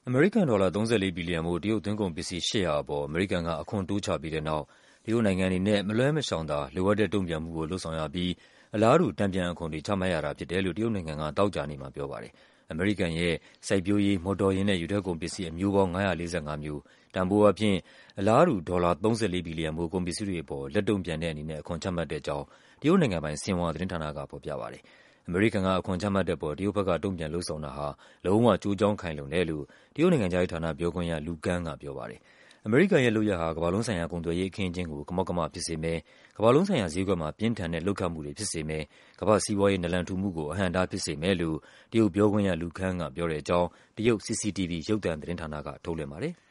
အမေကန်ဒေါ်လာ ၃၄ ဘီလီယံဖိုး တရုတ် သွင်းကုန်ပစ္စည်း ၈၀၀ အပေါ် အမေရိကန်က အခွန်တိုးချပြီး တဲ့နောက် တရုတ်နိုင်ငံအနေနဲ့ မလွှဲမရှောင်သာ လိုအပ်တဲ့တုံ့ပြန်မှုကို လုပ်ဆောင်ရပြီး အလားတူ တန်ပြန် အခွန်တွေ ချမှတ်ရတာဖြစ်တယ်လို့ တရုတ် နိုင်ငံက သောကြာနေ့မှာပြောပါတယ်။ အမေရိကန်ရဲ့ “စိုက်ပျိုးရေး၊ မော်တော်ယာဉ်နဲ့ ရေထွက်ကုန်ပစ္စည်း” အမျိုးပေါင်း ၅၄၅ မျိုး၊ တန်ဖိုး အားဖြင့် အလားတူ ဒေါ်လာ ၃၄ ဘီလီယံဖိုး ကုန်ပစ္စည်းတွေအပေါ် လက်တုံ့ပြန်တဲ့အနေနဲ့ အခွန်ချမှတ်တဲ့ အကြောင်း တရုတ်နိုင်ငံပိုင် ဆင်ဟွာသတင်းဌာန က ဖော်ပြပါတယ်။ အမေရိကန်က အခွန်ချမှတ်တဲ့အပေါ် တရုတ်ဘက်က တုံ့ပြန်လုပ်ဆောင်တာဟာ “လုံးဝ ကျိုးကြောင်ခိုင်လုံတယ်” လို့ တရုတ် နိုင်ငံခြားရေးဌာနပြောခွင့်ရ Lu Kang ကပြောပါတယ်။ အမေရိကန်ရဲ့လုပ်ရပ်ဟာ “ကမ္ဘာလုံးဆိုင်ရာ ကုန်သွယ်ရေး အခင်းအကျင်းကို ကမောက်ကမဖြစ်စေမယ်၊ ကမ္ဘာလုံးဆိုင်ရာ ဈေးကွက်မှာ ပြင်းထန်တဲ့လှုပ်ခတ်မှုတွေ ဖြစ်စေမယ်၊ ကမ္ဘာ့စီးပွား ရေး နာလန်ထူမှုကို အဟန့်အတားဖြစ်စေမယ်” လို့ ပြောခွင့်ရ Lu Kang ကပြောတဲ့ အကြောင်း တရုတ် CCTV ရုပ်သံသတင်းဌာန က ထုတ်လွှင့်ပါတယ်။